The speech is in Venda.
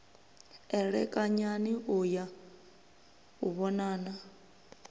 elekanyani u ya u vhonana